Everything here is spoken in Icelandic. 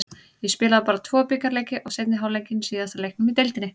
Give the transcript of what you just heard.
Ég spilaði bara tvo bikarleiki og seinni hálfleikinn í síðasta leiknum í deildinni.